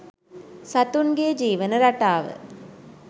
සතුන්ගේ ජීවන රටාව